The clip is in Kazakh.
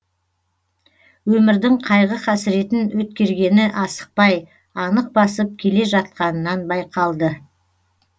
өмірдің қайғы қасіретін өткергені асықпай анық басып келе жатқанынан байқалды